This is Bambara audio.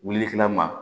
Wulili kɛla ma